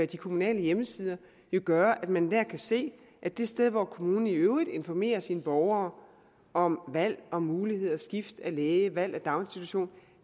de kommunale hjemmesider jo gøre at man dér kan se at det sted hvor kommunen i øvrigt informerer sine borgere om valg om muligheder skift af læge valg af daginstitution